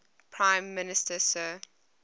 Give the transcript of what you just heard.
prime minister sir